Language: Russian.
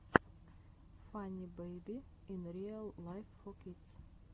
фанни бэйби ин риал лайф фор кидс